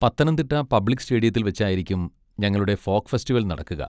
Pathanamthitta public സ്റ്റേഡിയത്തിൽ വെച്ചായിരിക്കും ഞങ്ങളുടെ ഫോക്ക് ഫെസ്റ്റിവൽ നടക്കുക.